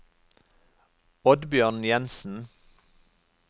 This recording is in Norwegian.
Oddbjørn Jensen